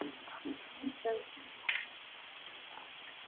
Íslenskt malbik er hart undir il.